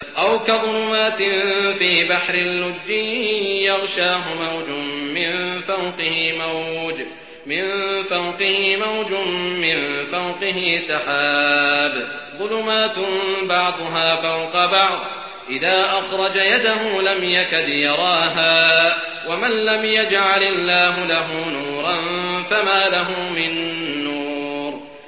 أَوْ كَظُلُمَاتٍ فِي بَحْرٍ لُّجِّيٍّ يَغْشَاهُ مَوْجٌ مِّن فَوْقِهِ مَوْجٌ مِّن فَوْقِهِ سَحَابٌ ۚ ظُلُمَاتٌ بَعْضُهَا فَوْقَ بَعْضٍ إِذَا أَخْرَجَ يَدَهُ لَمْ يَكَدْ يَرَاهَا ۗ وَمَن لَّمْ يَجْعَلِ اللَّهُ لَهُ نُورًا فَمَا لَهُ مِن نُّورٍ